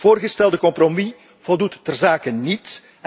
Het voorgestelde compromis voldoet ter zake niet.